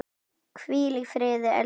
Hvíl í friði, elsku systir.